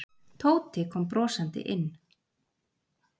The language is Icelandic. Tóti kom brosandi inn.